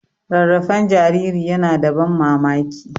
Rarrafen jariri yana da ban mamaki.